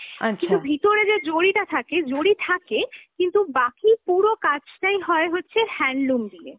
কিন্ত ভিতরে যে জরিটা থাকে, জরি থাকে, কিন্ত বাকি পুরো কাজটাই হয় হচ্ছে handloom দিয়ে।